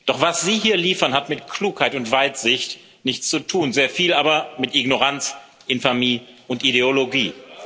Doch was Sie hier liefern, hat mit Klugheit und Weitsicht nichts zu tun, sehr viel aber mit Ignoranz, Infamie und Ideologie.